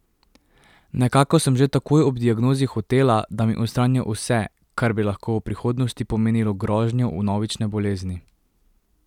Nekako sem že takoj ob diagnozi hotela, da mi odstranijo vse, kar bi lahko v prihodnosti pomenilo grožnjo vnovične bolezni.